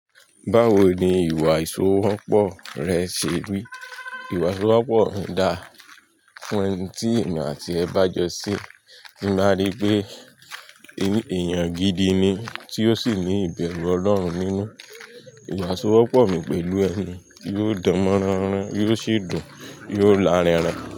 Báwo ni ìwà ìṣòwòpọ̀ rẹ ṣe rí? Ìwà ìṣòwòpọ̀ mi dá fún ẹni tí èmi àti ẹ bá jọ sí, tí máa rí pé èèyàn gidi ni tí ó sì ní ìbẹ̀rù Ọlọ́run nínú. Ìwà ìṣòwòpọ̀ mi pẹ̀lú ẹni yóò dánmọ́ránran, yóò sì dùn, yóò lárinrin.